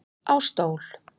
Á stól